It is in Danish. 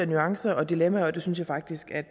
nuancer og dilemmaer og det synes jeg faktisk er